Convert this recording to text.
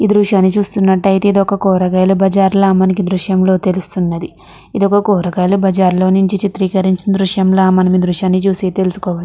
ఈ దృశ్యాన్ని చూసినట్లయితే కూరగాయల బజార్ అని ఈ దృశ్యం లో తెలుస్తుంది ఇది ఒక కూరగాయల బజార్లో చిత్రీకరించిన చిత్రం ల ఈ దృశ్యం లోతెలుసుకోవచ్చు.